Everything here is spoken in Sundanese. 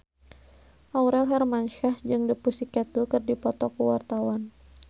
Aurel Hermansyah jeung The Pussycat Dolls keur dipoto ku wartawan